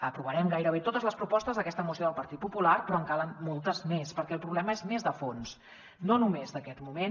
aprovarem gairebé totes les propostes d’aquesta moció del partit popular però en calen moltes més perquè el problema és més de fons no només d’aquest moment